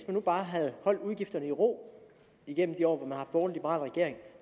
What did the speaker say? nu bare havde holdt udgifterne i ro igennem de år hvor liberal regering